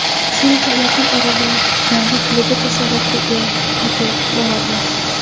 Silva yaqin orada yangi klubi tasarrufiga yetib boradi.